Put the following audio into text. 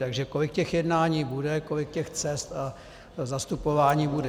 Takže kolik těch jednání bude, kolik těch cest a zastupování bude?